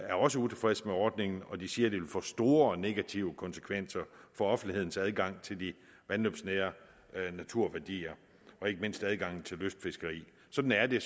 er også utilfreds med ordningen og de siger at det vil få store og negative konsekvenser for offentlighedens adgang til de vandløbsnære naturværdier og ikke mindst adgangen til lystfiskeri sådan er det